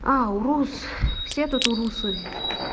а урус все тут урусы